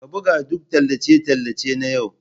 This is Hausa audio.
Ka buga duk tallace-tallace nan yau!